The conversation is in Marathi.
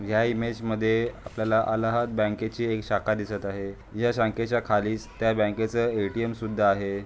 या इमेज मध्ये आपल्याला अलाहाद बँकेची एक शाखा दिसत आहे या शाखेच्या खालीस त्या बँकेच ए_टी_एम सुद्धा आहे.